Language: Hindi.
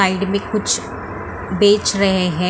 साइड में कुछ बेच रहे हैं।